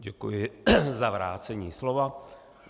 Děkuji za vrácení slova.